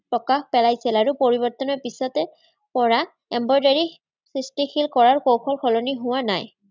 প্ৰকাশ পেলাইছিল আৰু পৰিবৰ্তনৰ পিছতে কৰা embroidery সৃষ্টিশীল কৰাৰ কৌশল সলনি হোৱা নায়।